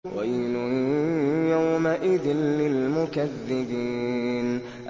وَيْلٌ يَوْمَئِذٍ لِّلْمُكَذِّبِينَ